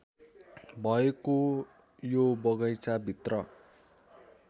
भएको यो बगैंचाभित्र